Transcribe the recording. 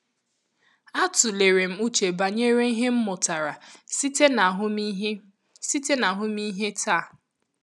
A tụlere m uche banyere ihe m mụtara site na ahụmịhe site na ahụmịhe taa.